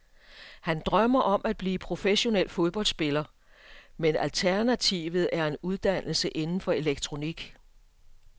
Han drømmer om at blive professionel fodboldspiller, men alternativet er en uddannelse inden for elektronik.